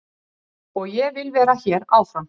Og ég vil vera hér áfram.